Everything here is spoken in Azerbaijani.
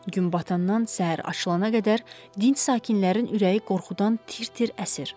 Gün batandan səhər açılana qədər dinç sakinlərin ürəyi qorxudan tir-tir əsir.